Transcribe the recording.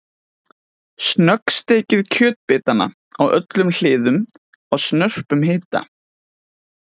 Snöggsteikið kjötbitana á öllum hliðum á snörpum hita.